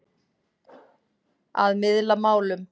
Að miðla málum